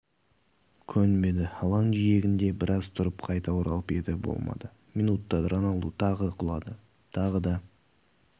көнбеді алаң жиегінде біраз тұрып қайта оралып еді болмады минутта роналду тағы құлады тағы да